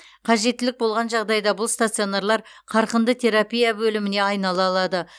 қажеттілік болған жағдайда бұл стационарлар қарқынды терапия бөліміне айнала алады